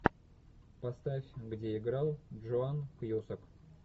поставь где играл джон кьюсак